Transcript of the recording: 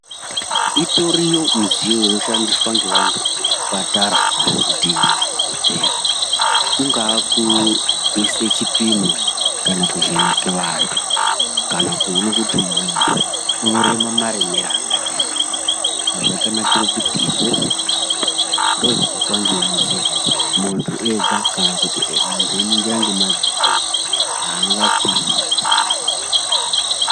Itoriyo midziyo inoshandiswa ngevantu muzvipatara kana kuti madhogodheya. Kungaa kuise chipimo kana kuvheneke vantu kana kuone kuti muntu unoreme maremere akadini. Zvakanakire kuti izvozvo ndozvinoitwa ngemidziyo idzodzo muntu ega kana kuti muntu einingira ngemadziso ega hangapimi zvakanaka.